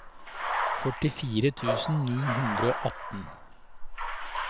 førtifire tusen ni hundre og atten